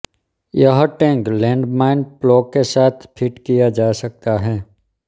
यह tank land mine plough के साथ फिट किया जा सकता है